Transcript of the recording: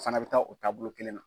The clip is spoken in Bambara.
O fana bɛ taa o taabolo kelen na.